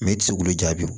i tɛ se k'olu jaabi